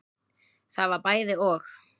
Það var bæði og.